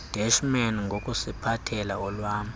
deshman ngokusiphathela olwa